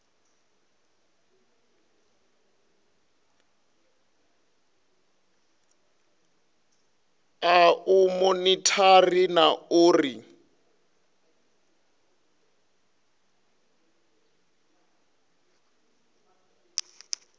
a u monithara na uri